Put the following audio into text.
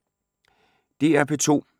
DR P2